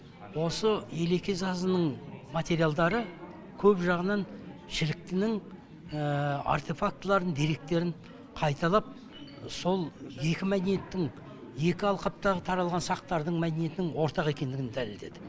осы елеке сазының материалдары көп жағынан шіліктінің артефактыларын деректерін қайталап сол екі мәдениеттің екі алқаптағы таралған сақтардың мәдениетінің ортақ екендігін дәлелдеді